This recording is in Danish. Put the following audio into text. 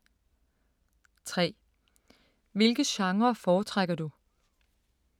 3) Hvilke genrer foretrækker du?